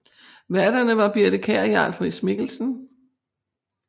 Værterne var Birthe Kjær og Jarl Friis Mikkelsen